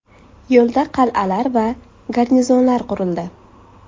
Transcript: Yo‘lda qal’alar va garnizonlar qurildi.